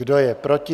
Kdo je proti?